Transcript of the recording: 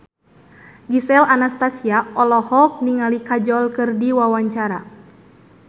Gisel Anastasia olohok ningali Kajol keur diwawancara